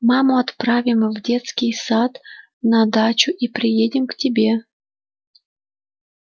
маму отправим с детский сад на дачу и приедем к тебе